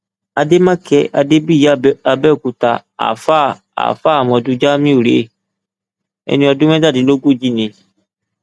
àdèmàkè adébíyì àbẹòkúta àáfàá àáfàá àmọdù jamiu rèé ẹni ọdún mẹtàdínlógójì ni